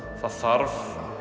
það þarf